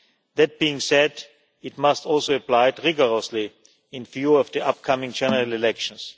That being said, it must also be applied rigorously in view of the upcoming general elections.